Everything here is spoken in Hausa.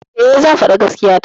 E, zan faɗi gaskiya ta.